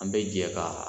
An bɛ jɛ ka